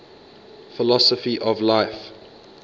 philosophy of life